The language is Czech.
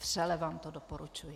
Vřele vám to doporučuji.